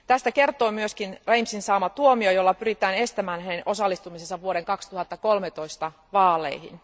Tästä kertoo myös Rainsyn saama tuomio, jolla pyritään estämään hänen osallistumisensa vuoden 2013 vaaleihin.